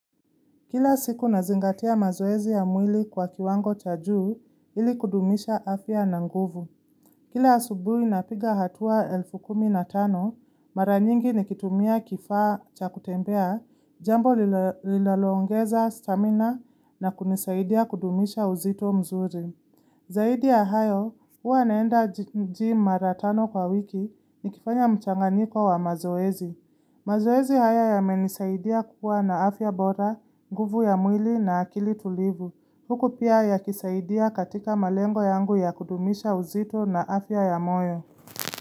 Kila siku nazingatia mazoezi ya mwili kwa kiwango cha juu, ili kudumisha afya na nguvu. Kila asubuhi napiga hatua elfu kumi na tano, mara nyingi nikitumia kifaa cha kutembea, jambo linalo ongeza stamina na kunisaidia kudumisha uzito mzuri. Zaidi ya hayo, huwa naenda gym mara tano kwa wiki nikifanya mchanganyiko wa mazoezi. Mazoezi haya yamenisaidia kuwa na afya bora, nguvu ya mwili na akili tulivu. Huku pia yakisaidia katika malengo yangu ya kudumisha uzito na afya ya moyo.